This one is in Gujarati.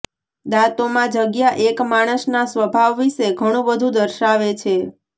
દાંતોમાં જગ્યા એક માણસના સ્વભાવ વિષે ઘણું બધું દર્શાવે છે